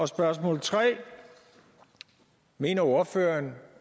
spørgsmål 3 mener ordføreren